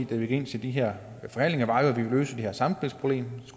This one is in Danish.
da vi gik ind til de her forhandlinger var at vi løse det her samspilsproblem